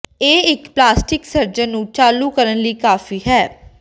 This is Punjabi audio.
ਇਹ ਇੱਕ ਪਲਾਸਟਿਕ ਸਰਜਨ ਨੂੰ ਚਾਲੂ ਕਰਨ ਲਈ ਕਾਫ਼ੀ ਹੈ